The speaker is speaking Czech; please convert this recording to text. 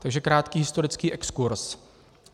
Takže krátký historický exkurz.